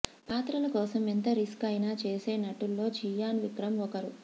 పాత్రల కోసం ఎంత రిస్క్ అయినా చేసే నటుల్లో చియాన్ విక్రమ్ ఒకరు